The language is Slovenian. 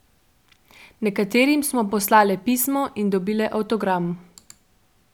Nekaterim smo poslale pismo in dobile avtogram.